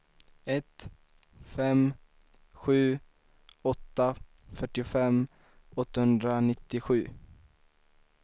ett fem sju åtta fyrtiofem åttahundranittiosju